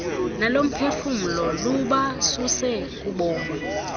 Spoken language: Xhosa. nolomphefumlo lubasuse kubomi